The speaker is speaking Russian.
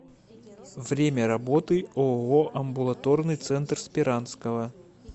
время работы ооо амбулаторный центр сперанского